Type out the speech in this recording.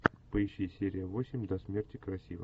поищи серия восемь до смерти красива